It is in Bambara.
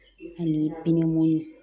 Ani mun ye